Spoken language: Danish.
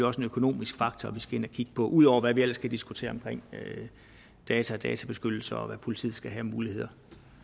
også en økonomisk faktor vi skal ind at kigge på ud over hvad vi ellers kan diskutere om data og databeskyttelse og hvad politiet skal have af muligheder